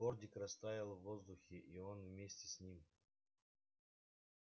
фордик растаял в воздухе и он вместе с ним